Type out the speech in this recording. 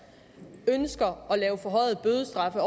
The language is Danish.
ønsker at give forhøjede bødestraffe